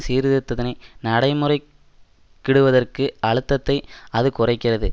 சீர்திருத்தத்தினை நடைமுறைக்கிடுவதற்கு அழுத்தத்தை அது குறைக்கிறது